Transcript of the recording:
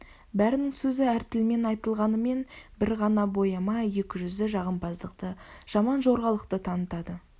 бәрінің сөзі әр тілмен айтылғанымен бір ғана бояма екі жүзді жағымпаздықты жаман жорғалықты танытады